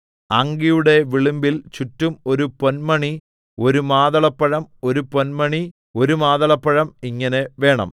അങ്കിയുടെ വിളുമ്പിൽ ചുറ്റും ഒരു പൊന്മണി ഒരു മാതളപ്പഴം ഒരു പൊന്മണി ഒരു മാതളപ്പഴം ഇങ്ങനെ വേണം